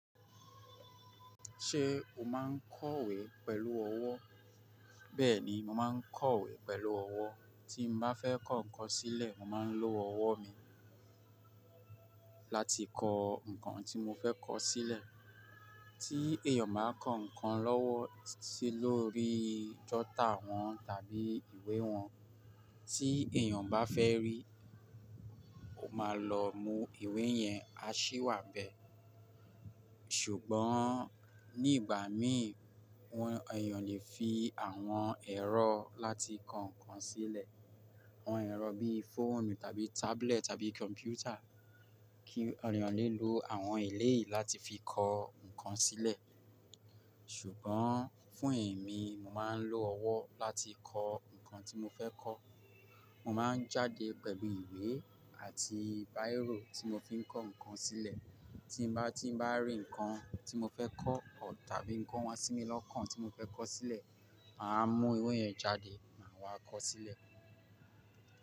Ṣé o máa ń kọ̀wé pẹ̀lú ọwọ́? Bẹ́ẹ̀ni, mo máa ń kọ̀wé pẹ̀lú ọwọ́. Tí mo bá fẹ́ kọ nǹkan sílẹ̀, mo máa ń lo ọwọ́ mi láti kọ nǹkan tí mo fẹ́ kọ sílẹ̀. Tí èèyàn máa kọ nǹkan lọ́wọ́ sí lórí jọ́tà wọn tàbí ìwé wọn, tí èèyàn bá fẹ́ rí, ó máa lọ mú ìwé yẹn, a ṣí wá bẹ. Ṣùgbọ́n ní ìgbà mí, wọn-- èèyàn lè fi àwọn ẹ̀rọ láti kọ nǹkan sílẹ̀. Àwọn ẹ̀rọ bíí fóònù tàbí tablet tàbí kọ̀m̀pútà kí èèyàn lè lo àwọn ìlé yìí láti fi kọ nǹkan sílẹ̀. Ṣùgbọ́n fún ẹ̀mí, mo máa ń lo ọwọ́ láti kọ nǹkan tí mo fẹ́ kọ. Mo máa ń jáde pẹ̀lú ìwé àti bírò tí mo fi ń kọ nǹkan sílẹ̀. Tí n bá, tí bá rí nǹkan tí mo fẹ́ kọ tàbí nǹkan wá sí mi lọ́kàn tí mo fẹ́ kọ sílẹ̀, màá mú ìwé yẹn jáde, màá wá kọ sílẹ̀.